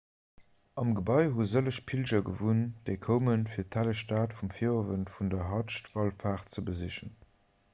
am gebai hu sëlleg pilger gewunnt déi koumen fir d'helleg stad um virowend vun der hadsch-wallfaart ze besichen